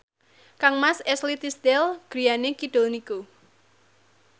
kangmas Ashley Tisdale griyane kidul niku